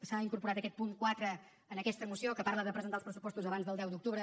s’ha incorporat aquest punt quatre en aquesta moció que parla de presentar els pressupostos abans del deu d’octubre